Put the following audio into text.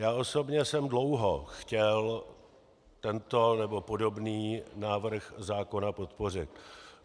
Já osobně jsem dlouho chtěl tento nebo podobný návrh zákona podpořit.